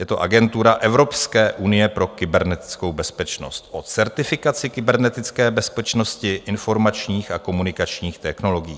Je to Agentura Evropské unie pro kybernetickou bezpečnost o certifikaci kybernetické bezpečnosti, informačních a komunikačních technologií.